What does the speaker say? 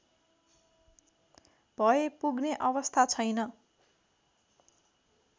भए पुग्ने अवस्था छैन